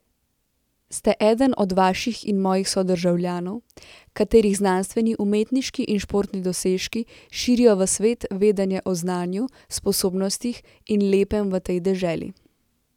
Ste eden od vaših in mojih sodržavljanov, katerih znanstveni, umetniški in športni dosežki širijo v svet vedenje o znanju, sposobnostih in lepem v tej deželi.